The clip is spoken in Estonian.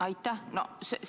Aitäh!